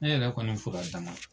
Ne yɛrɛ kɔni fura dama